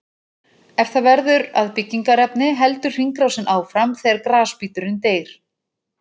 Ef það verður að byggingarefni heldur hringrásin áfram þegar grasbíturinn deyr.